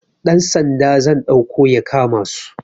Dan Sanda zan ɗauko ya kama su